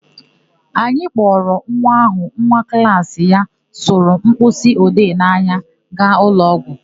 Anyị kpọrọ nwa áhụ̀ nwa klaasị ya sụrụ mkpịsịode n'anya gaa ụlọọgwụ.